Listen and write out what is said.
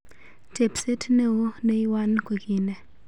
tepset neo neywan koki nee?